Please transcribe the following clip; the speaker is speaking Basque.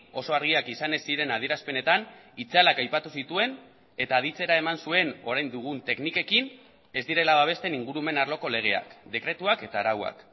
oso argiak izan ez ziren adierazpenetan itzalak aipatu zituen eta aditzera eman zuen orain dugun teknikekin ez direla babesten ingurumen arloko legeak dekretuak eta arauak